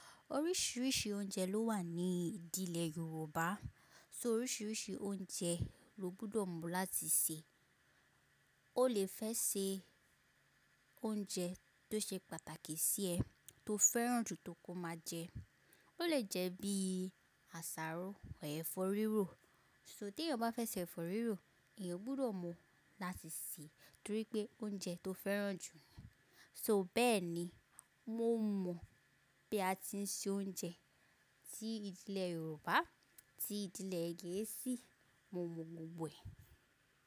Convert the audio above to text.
Oríṣiríṣi oúnjẹ ló wà ní ìdílé Yorùbá, so oríṣiríṣi oúnjẹ lo gbúdọ̀ mọ̀ láti sè. O lè fẹ́ sè oúnjẹ tó ṣe pàtàkì sí ẹ, tó fẹ́ràn jù pé kó máa jẹ. Ó lè jẹ́ bí àsáró or ẹ̀fọ́ rírò. So tí èèyàn bá fẹ́ sè ẹ̀fọ́ rírò, èèyàn gbúdọ̀ mọ̀ láti sè torí pé oúnjẹ tó fẹ́ràn jù. So bẹ́ẹ̀ ni mo mọ̀ pé a ti ń se oúnjẹ tí ídilé Yorùbá, tí ídilé gèésí, mo mọ̀ gbogbo e.